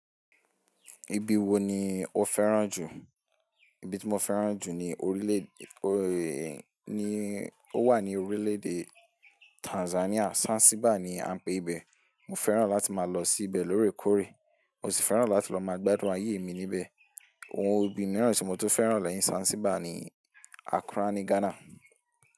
Ibi wo ni o fẹ́ràn jù? Ibi tí mo fẹ́ràn jù ni orílẹ̀ èdè, ni ó wà ní orílẹ̀ èdè Tanzania, Zanzibar ni a ń pé ibẹ̀. Mo fẹ́ràn láti máa lọ sí ibẹ̀ lórè kóre. Mo sì fẹ́ràn láti lọ máa gbádùn ayé mi níbẹ̀. Ohun ibì mìíràn tí mo tó fẹ́ràn lẹ́yìn Zanzibar ni Accra ní Ghana.